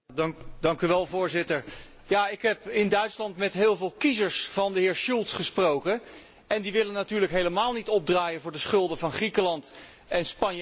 Voorzitter, ik heb in Duitsland met heel veel kiezers van de heer Schulz gesproken, en die willen natuurlijk helemaal niet opdraaien voor de schulden van Griekenland, Spanje en Italië.